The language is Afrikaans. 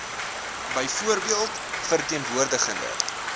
byvoorbeeld verteen woordigende